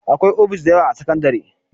Akwai ofis dayawa a sakandare